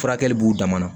Furakɛli b'u dama na